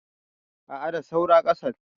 a a da saura kasan